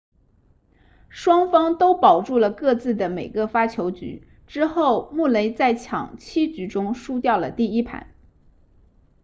双方都保住了各自的每个发球局之后穆雷在抢七局中输掉了第一盘